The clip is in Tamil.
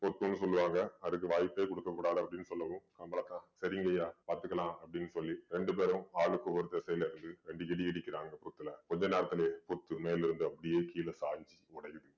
பொட்டுன்னு சொல்லுவாங்க அதுக்கு வாய்ப்பே கொடுக்கக் கூடாது அப்படின்னு சொல்லவும் கம்பளதான் சரிங்கய்யா பார்த்துக்கலாம் அப்படின்னு சொல்லி ரெண்டு பேரும் ஆளுக்கு ஒரு திசையிலே இருந்து ரெண்டு இடி இடிக்கிறாங்க புத்துல கொஞ்ச நேரத்துலயே புத்து மேல இருந்து அப்படியே கீழ சாஞ்சு உடையுது